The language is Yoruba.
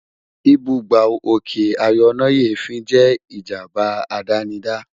Ìbúgbàù òkè ayọnáyèéfín jẹ́ ìjábá àdánidá